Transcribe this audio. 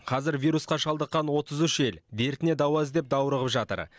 қазір вирусқа шалдыққан отыз үш ел дертіне дауа іздеп даурығып жатыр